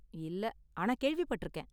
இல்ல, ஆனா கேள்விப்பட்டிருக்கேன்.